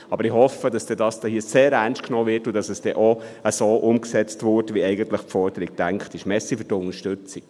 Aber ich hoffe, dass dieses hier sehr ernst genommen und auch so umgesetzt wird, wie die Forderung eigentlich gedacht ist.